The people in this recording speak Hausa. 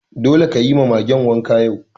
Dole ka yi wa Magen wanka yau!